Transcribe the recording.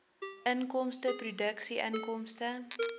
inkomste produkinkomste